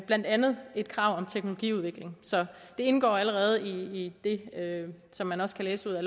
blandt andet et krav om teknologiudvikling så det indgår allerede i det som man også kan læse ud af